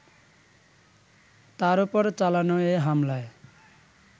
তার ওপর চালানো এ হামলায়